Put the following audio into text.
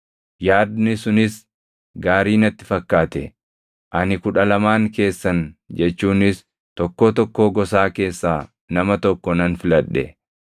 Yaadni sunis gaarii natti fakkaate; ani kudha lamaan keessan jechuunis tokkoo tokkoo gosaa keessaa nama tokko nan filadhe.